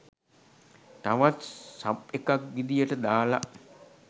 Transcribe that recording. තවත් සබ් එකක් විදියට දාල